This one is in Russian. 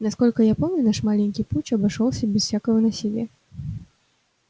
насколько я помню наш маленький путч обошёлся без всякого насилия